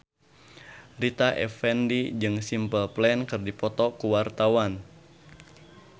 Rita Effendy jeung Simple Plan keur dipoto ku wartawan